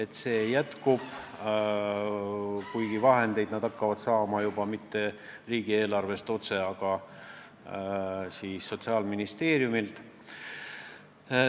Rahastamine jätkub, aga vahendeid nad hakkavad saama mitte riigieelarvest otse, vaid Sotsiaalministeeriumilt.